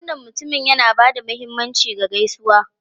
Wannan mutumin yana ba da mahimmanci ga gaisuwa.